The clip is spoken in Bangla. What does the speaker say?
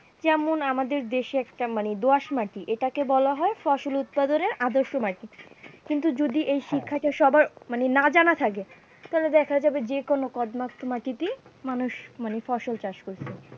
যেমন আমাদের দেশে একটা মানে দোঁয়াশ মাটি এটাকে বলা হয় ফসল উৎপাদনের আদর্শ মাটি কিন্তু যদি এই শিক্ষাটা সবার মানে না জানা থাকে, তাহলে দেখা যাবে যেকোনো পর্যাপ্ত মাটিতেই মানুষ মানে ফসল চাষ করছে।